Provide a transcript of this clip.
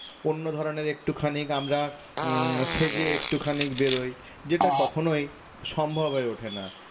অন্য ধরণের একটুখানি আমরা উম সেজে একটুখানি বেরোয় যেটা কখনোই সম্ভব হয়ে ওঠে না